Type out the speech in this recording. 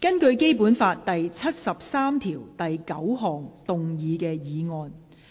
根據《基本法》第七十三條第九項動議的議案。